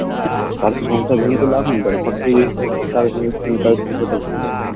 হম কারোর সংসার ভেঙে তো লাভ নেই দেখো সব তাহলে তার সংসার টা ভেঙে যাবে